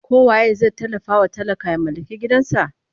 ko waye zai tallafa wa talaka ya mallaki gidan kansa?